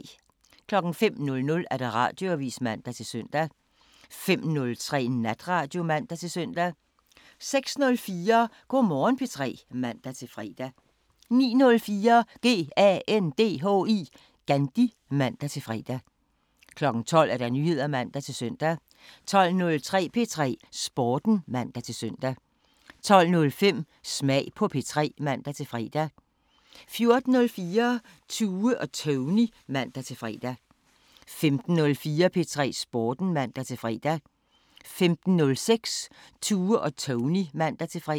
05:00: Radioavisen (man-søn) 05:03: Natradio (man-søn) 06:04: Go' Morgen P3 (man-fre) 09:04: GANDHI (man-fre) 12:00: Nyheder (man-søn) 12:03: P3 Sporten (man-søn) 12:05: Smag på P3 (man-fre) 14:04: Tue og Tony (man-fre) 15:04: P3 Sporten (man-fre) 15:06: Tue og Tony (man-fre)